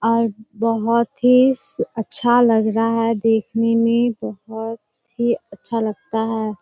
आज बहुत ही स अच्छा लग रहा है देखने में। बहुत ही अच्छा लगता है।